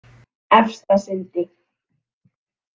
Efstasundi